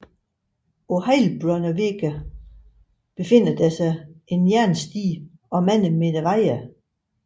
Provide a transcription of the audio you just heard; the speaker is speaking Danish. På Heilbronner Weg befinder der sig en jernstige og mange meter wire